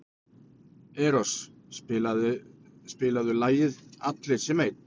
Eros, spilaðu lagið „Allir sem einn“.